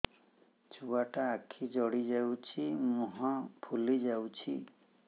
ଛୁଆଟା ଆଖି ଜଡ଼ି ଯାଉଛି ମୁହଁ ଫୁଲି ଯାଉଛି